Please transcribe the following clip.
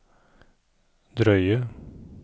drøye